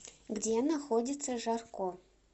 где находится жарко